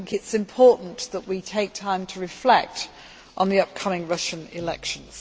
I think it is important that we take time to reflect on the upcoming Russian elections.